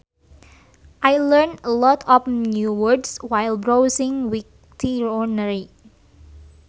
I learnt a lot of new words while browsing Wiktionary